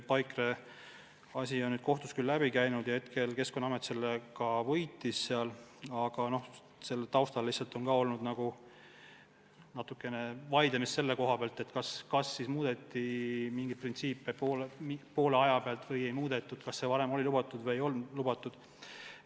Paikre kaasus on nüüd kohtust läbi käinud ja Keskkonnaamet selle võitis, aga selle taustal on ka olnud vaidlemist selle üle, kas siis muudeti mingeid printsiipe poole aja pealt, kas see varem oli lubatud või ei olnud lubatud.